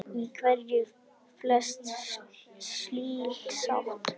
Minnist mín með gleði.